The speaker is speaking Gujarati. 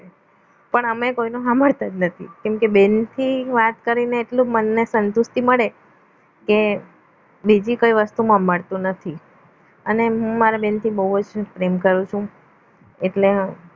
પણ અમે કોઈનો સાંભળતા જ નથી કેમકે બહેનથી વાત કરીને એટલું મનને સંતુષ્ટી મળે કે બીજી કોઈ વસ્તુમાં મળતું નથી અને હું મારા બહેનથી બહુ જ પ્રેમ કરું છું એટલે